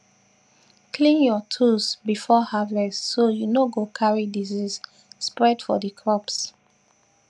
clean your tools before harvest so you no go carry disease spread for the crops